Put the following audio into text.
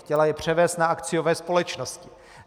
Chtěla je převést na akciové společnosti.